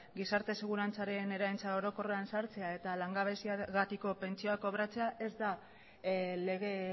gizarte segurantzaren eraentza orokorrean sartzea eta langabeziagatiko pentsioa kobratzea ez da lege